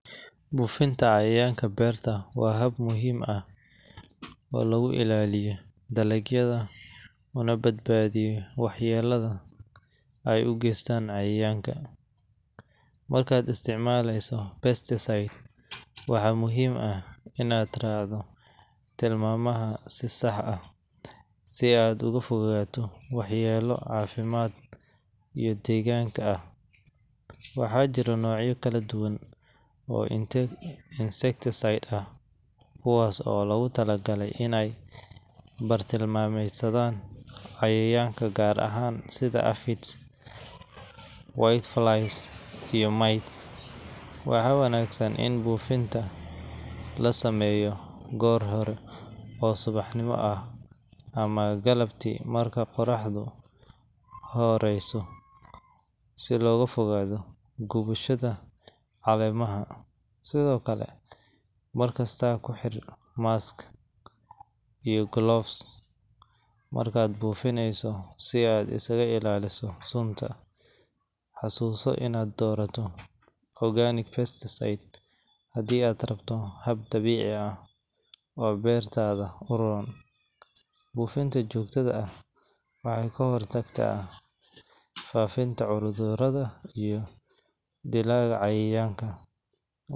Buufinta cayayaanka beerta waa hab muhiim ah oo lagu ilaaliyo dalagyada una badbaadiyo waxyeellada ay u geystaan cayayaanka. Markaad isticmaaleyso pesticide, waxaa muhiim ah inaad raacdo tilmaamaha si sax ah si aad uga fogaato waxyeello caafimaad iyo deegaanka ah. Waxaa jira noocyo kala duwan oo insecticide ah, kuwaas oo loogu talagalay inay bartilmaameedsadaan cayayaanka gaar ah sida aphids, whiteflies, iyo mites. Waxaa wanaagsan in buufinta la sameeyo goor hore oo subaxnimo ah ama galabtii marka qorraxdu hooseyso, si looga fogaado gubashada caleemaha. Sidoo kale, mar kasta ku xir mask iyo gloves markaad buufinayso si aad isaga ilaaliso sunta. Xasuuso inaad doorato organic pesticide haddii aad rabto hab dabiici ah oo beertaada u roon. Buufinta joogtada ah waxay ka hortagtaa faafidda cudurrada iyo dilaaga cayayaanka.